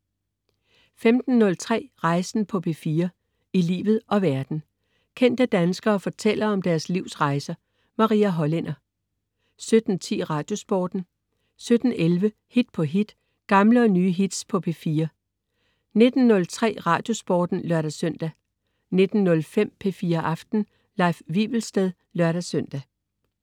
15.03 Rejsen på P4. I livet og verden. Kendte danskere fortæller om deres livs rejser. Maria Hollænder 17.10 Radiosporten 17.11 Hit på hit. Gamle og nye hits på P4 19.03 Radiosporten (lør-søn) 19.05 P4 Aften. Leif Wivelsted (lør-søn)